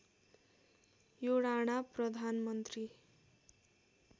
यो राणा प्रधानमन्त्री